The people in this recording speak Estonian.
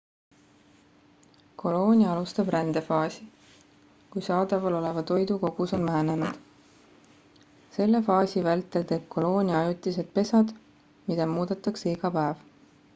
koloonia alustab rändefaasi kui saadaval oleva toidu kogus on vähenenud selle faasi vältel teeb koloonia ajutised pesad mida muudetakse iga päev